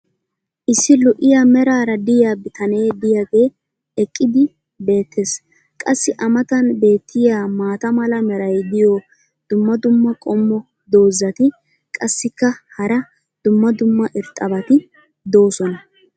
issi lo''iya meraara diya bitanee diyaagee eqqidi beetees. qassi a matan beetiya maata mala meray diyo dumma dumma qommo dozzati qassikka hara dumma dumma irxxabati doosona.